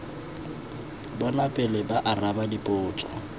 bona pele ba araba dipotso